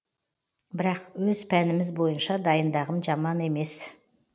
бірақ өз пәніміз бойынша дайындағым жаман емес